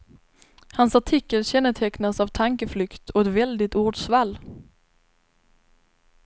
Hans artikel kännetecknas av tankeflykt och ett väldigt ordsvall.